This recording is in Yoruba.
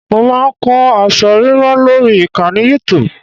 Mo máa ń kọ́ aṣọ ríran lórí ìkànnì Youtub